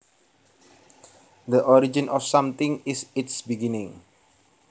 The origin of something is its beginning